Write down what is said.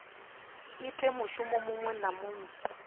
ite mushumo muṅwe na muṅwe